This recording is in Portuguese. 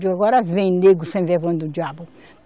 Digo, agora vem, negro sem vergonha do diabo.